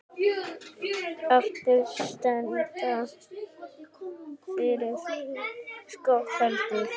Það stenst varla skoðun heldur.